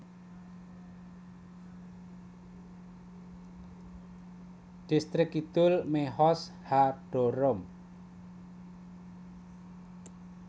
Dhistrik Kidul Mehoz HaDarom